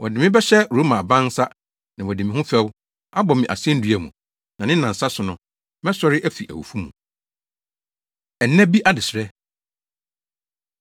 Wɔde me bɛhyɛ Roma aban nsa, na wɔadi me ho fɛw, abɔ me asennua mu, na ne nnansa so no, mɛsɔre afi awufo mu.” Ɛna Bi Adesrɛ